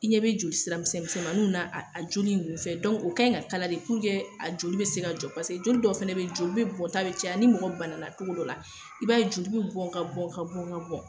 I ɲɛ bɛ joli sira misɛn misɛmaninw na a a joli nn fɛ o kɛn ŋa kala de a joli bɛ se ka jɔ pase joli dɔw fɛnɛ be ye joli bɛ bɔnta bɛ caya . Ni mɔgɔ banana cogo dɔ la, i b'a ye joli be bɔn ka bɔn ka bɔn ka bɔn